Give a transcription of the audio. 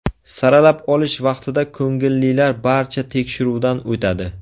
Saralab olish vaqtida ko‘ngillilar barcha tekshiruvdan o‘tadi.